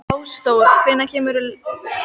Ásdór, hvenær kemur leið númer tíu?